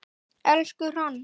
Elsku Hrönn.